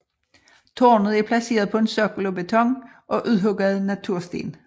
Tårnet er placeret på en sokkel af beton og udhugget natursten